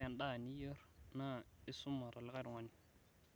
ore edaa niyior naa esuma tolikae tungani